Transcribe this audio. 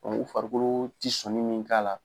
u farikolo tɛ sɔnni min k'a la